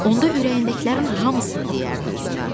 Onda ürəyindəkilərin hamısını deyərdi üzünə.